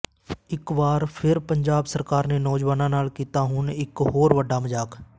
ਇੱਕ ਵਾਰ ਫਿਰ ਪੰਜਾਬ ਸਰਕਾਰ ਨੇ ਨੌਜਵਾਨਾਂ ਨਾਲ ਕੀਤਾ ਹੁਣ ਇਕ ਹੋਰ ਵੱਡਾ ਮਜ਼ਾਕ